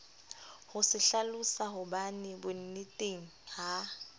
ho se hlalosahobane bonneteng ha